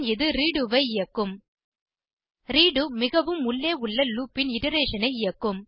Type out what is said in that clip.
பின் இது ரெடோ ஐ இயக்கும் ரெடோ மிகவும் உள்ளே உள்ள லூப் ன் இட்டரேஷன் ஐ இயக்கும்